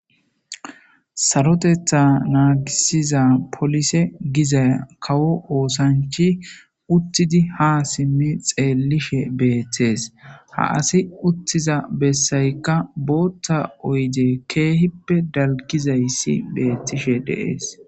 Sarotetha nagisiza polise giza kawo osanichi uttidi ha xellishe bettesi. Ha assi uttida besayika botha oyidde betayika kehippe daligizayisi betessi.